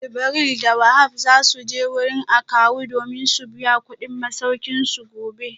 Jibril da Wahab za su je wurin akawu domin su biya kudin masaukinsu gobe